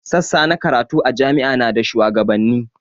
Sassa na karatu a jami'a na da shuwagabanni